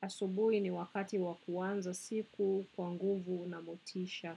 Asubui ni wakati wakuanza siku kwanguvu na motisha.